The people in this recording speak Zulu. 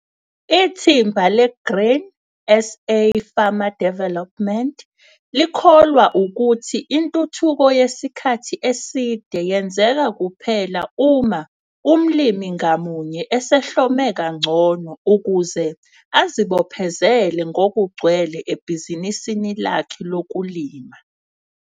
IThimba leGrain SA Farmer Development likholwa ukuthi intuthuko yesikhathi eside yenzeka kuphela uma umlimi ngamunye esehlome kangcono ukuze azibophezele ngokugcwele ebhizinisini lakhe lokulima.